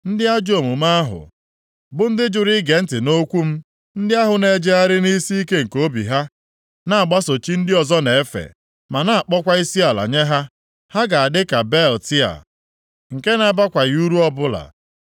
Ndị ajọ omume ahụ, bụ ndị jụrụ ige ntị nʼokwu m, ndị ahụ na-ejegharị nʼisiike nke obi ha na-agbaso chi ndị ọzọ na-efe ma na-akpọkwa isiala nye ha. Ha ga-adịka belịt a, nke na-abakwaghị uru ọbụla.